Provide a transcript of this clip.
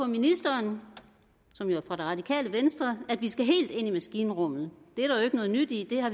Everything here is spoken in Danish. ministeren som jo er fra det radikale venstre at vi skal helt ind i maskinrummet det er der jo ikke noget nyt i det har